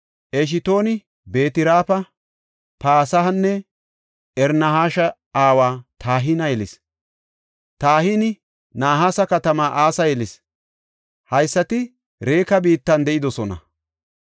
Eshtooni Beet-Raafa, Pasehanne Irnahasha aawa Tahina yelis. Tahini Nahaasa katamaa asaa yelis. Haysati Reka biittan de7idosona.